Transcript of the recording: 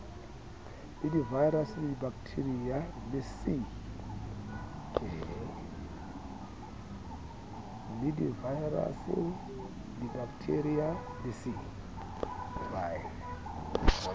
le divaerase dibakethiria le c